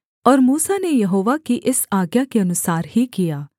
और मूसा ने यहोवा की इस आज्ञा के अनुसार ही किया